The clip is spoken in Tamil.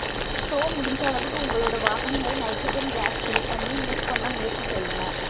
ஸொ முடிஞ்ச அளவுக்கு உங்களோட வாகனங்கள்ள நைட்ரஜன் கேஸை ஃபில் பண்ணி யூஸ் பண்ண முயற்சி செய்ங்க